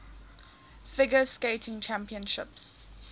figure skating championships